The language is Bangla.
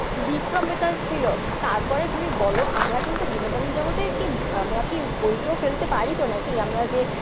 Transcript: বিক্রম বেতাল ছিল। তারপরে তুমি বলো আমরা কিন্তু বিনোদনের জগতে কি বইটা ফেলতে পার তো নাকি আমরা যে